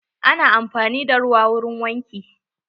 Ana amfani da ruwa wurin wanki.